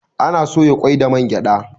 Ana soya kwai da man gyada